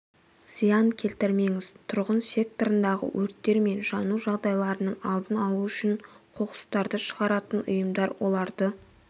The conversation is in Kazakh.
зиян келтірмеңіз тұрғын секторындағы өрттер мен жану жағдайларының алдын алу үшін қоқыстарды шығаратын ұйымдар оларды